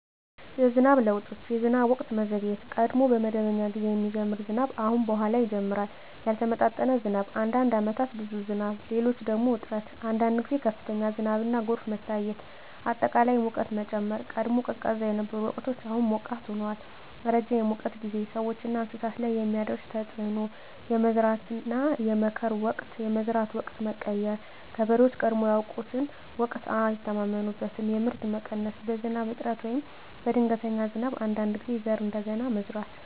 የዝናብ ለውጦች የዝናብ ወቅት መዘግየት – ቀድሞ በመደበኛ ጊዜ የሚጀምር ዝናብ አሁን በኋላ ይጀምራል ያልተመጣጠነ ዝናብ – አንዳንድ ዓመታት ብዙ ዝናብ፣ ሌሎች ደግሞ እጥረት አንዳንድ ጊዜ ከፍተኛ ዝናብና ጎርፍ መታየት አጠቃላይ ሙቀት መጨመር – ቀድሞ ቀዝቃዛ የነበሩ ወቅቶች አሁን ሞቃት ሆነዋል ረጅም የሙቀት ጊዜ – ሰዎችና እንስሳት ላይ የሚያደርስ ተፅዕኖ የመዝራትና የመከር ወቅት የመዝራት ወቅት መቀየር – ገበሬዎች ቀድሞ ያውቁትን ወቅት አይተማመኑበትም የምርት መቀነስ – በዝናብ እጥረት ወይም በድንገተኛ ዝናብ አንዳንድ ጊዜ ዘር እንደገና መዝራት